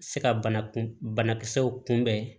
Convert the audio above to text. Se ka bana kun banakisɛw kunbɛn